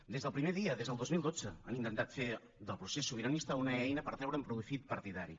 des del primer dia des del dos mil dotze han intentat fer del procés sobiranista una eina per treure’n profit partidari